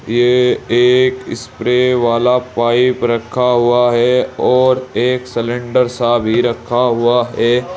ये एक स्प्रे वाला पाइप रखा हुआ है और एक सिलेंडर सा भी रखा हुआ है।